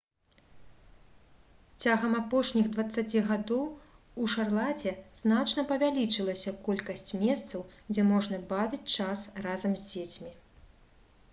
цягам апошніх 20 гадоў у шарлаце значна павялічылася колькасць месцаў дзе можна бавіць час разам з дзецьмі